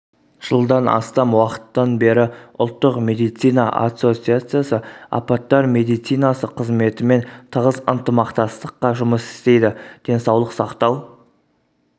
жылдан астам уақыттан бері ұлттық медицина ассоциациясы апаттар медицинасы қызметімен тығыз ынтымақтастықта жұмыс істейді денсаулық сақтау